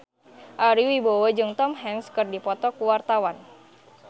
Ari Wibowo jeung Tom Hanks keur dipoto ku wartawan